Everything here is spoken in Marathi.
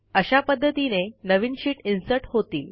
अशा पध्दतीने नवीन शीट इन्सर्ट होतील